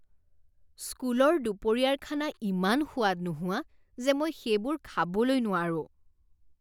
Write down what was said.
স্কুলৰ দুপৰীয়াৰ খানা ইমান সোৱাদ নোহোৱা যে মই সেইবোৰ খাবলৈ নোৱাৰো।